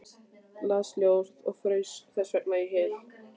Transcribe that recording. Las ljóð og fraus þessvegna í hel.